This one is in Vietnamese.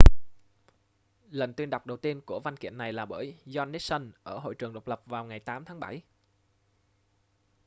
lần tuyên đọc đầu tiên của văn kiện này là bởi john nixon ở hội trường độc lập vào ngày 8 tháng bảy